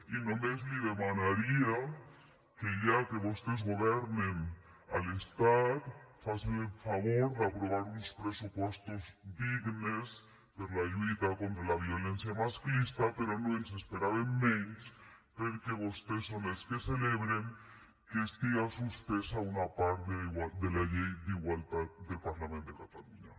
i només li demanaria que ja que vostès governen a l’estat facin el favor d’aprovar uns pressupostos dignes per a la lluita contra la violència masclista però no ens n’esperàvem menys perquè vostès són els que celebren que estiga suspesa una part de la llei d’igualtat del parlament de catalunya